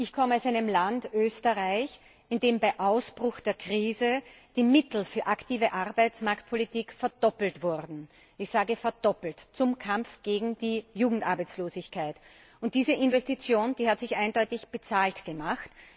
Ich komme aus einem Land, Österreich, in dem bei Ausbruch der Krise die Mittel für aktive Arbeitsmarktpolitik verdoppelt wurden ich sage verdoppelt zum Kampf gegen die Jugendarbeitslosigkeit. Diese Investition hat sich eindeutig bezahlt gemacht.